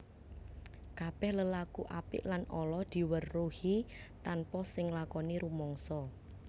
Kabèh lelaku apik lan ala diweruhi tanpa sing nglakoni rumangsa